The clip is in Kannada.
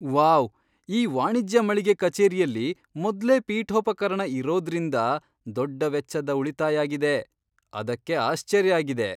ವಾವ್! ಈ ವಾಣಿಜ್ಯ ಮಳಿಗೆ ಕಚೇರಿಯಲ್ಲಿ ಮೊದ್ಲೇ ಪೀಠೋಪಕರಣ ಇರೊದ್ರಿಂದ ದೊಡ್ಡ ವೆಚ್ಚದ ಉಳಿತಾಯ್ ಆಗಿದೆ. ಅದಕ್ಕೆ ಆಶ್ಚರ್ಯ ಆಗಿದೆ.